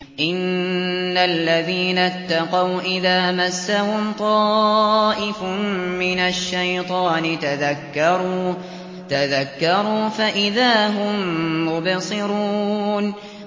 إِنَّ الَّذِينَ اتَّقَوْا إِذَا مَسَّهُمْ طَائِفٌ مِّنَ الشَّيْطَانِ تَذَكَّرُوا فَإِذَا هُم مُّبْصِرُونَ